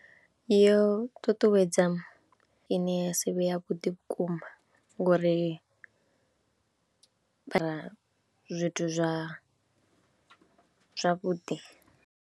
Yo ṱuṱuwedza ine ya si vhe yavhuḓi vhukuma ngori zwithu zwa zwavhuḓi.